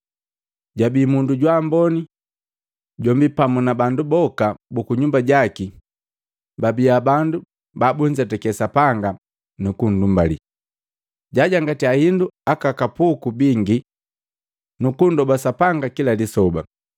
Jabi mundu jwaamboni, jombi pamu na bandu boka buku nyumba jaki babia bandu babunzetake Sapanga nukunndumbali, jaajangatya hindu aka kapuku bingi nukundoba Sapanga kila lisoba.